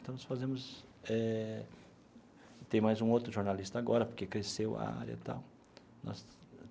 Então, nós fazemos eh... Tem mais um outro jornalista agora, porque cresceu a área e tal nós.